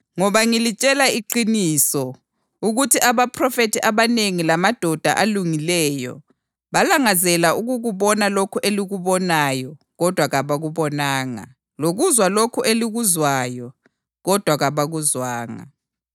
Ngoba ngilitshela iqiniso ukuthi abaphrofethi abanengi lamadoda alungileyo balangazela ukukubona lokhu elikubonayo kodwa kabakubonanga, lokuzwa lokhu elikuzwayo kodwa kabakuzwanga.